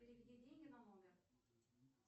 переведи деньги на номер